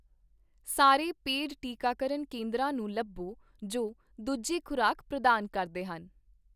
ਸਾਰੇ ਪੇਡ ਟੀਕਾਕਰਨ ਕੇਂਦਰਾਂ ਨੂੰ ਲੱਭੋ ਜੋ ਦੂਜੀ ਖ਼ੁਰਾਕ ਪ੍ਰਦਾਨ ਕਰਦੇ ਹਨ